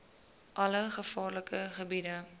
alle gevaarlike gebiede